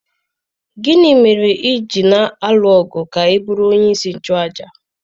Gịnị mere i ji na-alụ ọgụ ka ị bụrụ onyeisi nchụàjà?